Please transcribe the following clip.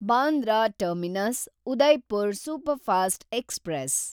Bandra terminus Udaipur superfast express